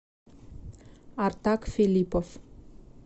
артак филиппов